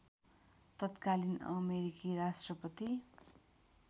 तत्कालीन अमेरिकी राष्ट्रपति